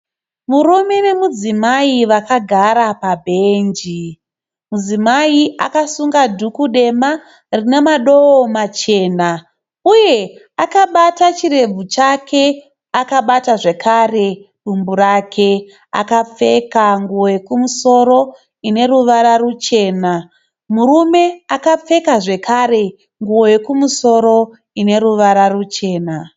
Murume nemudzimai vakagara pabhenji. Mudzimai akasunga dhuku dema, rinemadowo machana, uye akabata chirebvu chake, akabata zvekare dumbu rake. Akapfeka nguwo yokumosoro ineruvara ruchena. Murume akapfeka zvekare nguwo yokumosoro ineruvara ruchena.